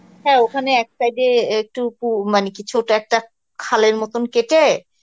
হ্যাঁ ওখানে এক side এ একটুকু মানে কি ছোটো একটা খালের মত কেটে